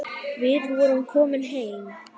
Við vorum komin heim.